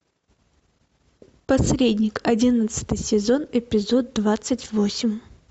посредник одиннадцатый сезон эпизод двадцать восемь